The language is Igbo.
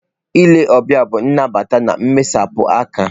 Ile ọbịa bụ nnabata na mmesapụ aka.